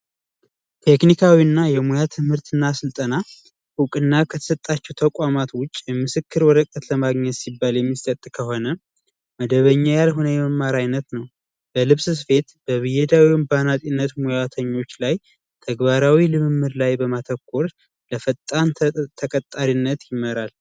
ቴክኒካዊ እና የሙያ ትምህርት እና ስልጠና እውቅና ከተሰጣቸው ተቋማት ውስጥ የምስክር ወረቀት ለማግኘት ሲባል የሚሰጥ ከሆነ መደበኛ ያልሆነ የመማር አይነት ነው። በልብስ ስፌት ፣በብየዳ ወይም በአናጢነት ሙያተኞች ላይ ተግባራዊ ልምምድ ላይ በማተኮር ለፈጣን ተቀጣሪነት ይመራል።